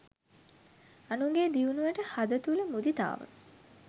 අනුන්ගේ දියුණුවට හද තුල මුදිතාව